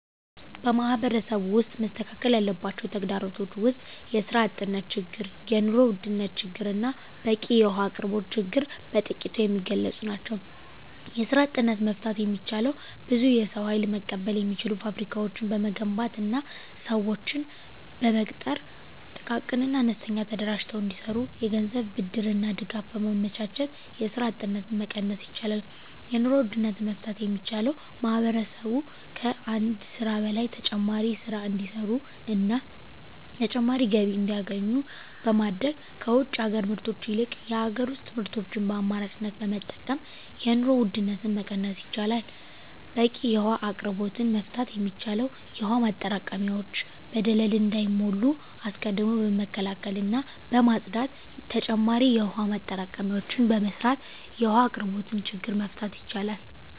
በማህበረሰቡ ውስጥ መስተካከል ያለባቸው ተግዳሮቶች ውስጥ የስራ አጥነት ችግር የኑሮ ውድነት ችግርና በቂ የውሀ አቅርቦት ችግር በጥቂቱ የሚገለፁ ናቸው። የስራ አጥነትን መፍታት የሚቻለው ብዙ የሰው ሀይል መቀበል የሚችሉ ፋብሪካዎችን በመገንባትና ስዎችን በመቅጠር ጥቃቅንና አነስተኛ ተደራጅተው እንዲሰሩ የገንዘብ ብድርና ድጋፍ በማመቻቸት የስራ አጥነትን መቀነስ ይቻላል። የኑሮ ውድነትን መፍታት የሚቻለው ማህበረሰቡ ከአንድ ስራ በላይ ተጨማሪ ስራ እንዲሰሩና ተጨማሪ ገቢ እንዲያገኙ በማድረግ ከውጭ ሀገር ምርቶች ይልቅ የሀገር ውስጥ ምርቶችን በአማራጭነት በመጠቀም የኑሮ ውድነትን መቀነስ ይቻላል። በቂ የውሀ አቅርቦትን መፍታት የሚቻለው የውሀ ማጠራቀሚያዎች በደለል እንዳይሞሉ አስቀድሞ በመከላከልና በማፅዳት ተጨማሪ የውሀ ማጠራቀሚያዎችን በመስራት የውሀ አቅርቦትን ችግር መፍታት ይቻላል።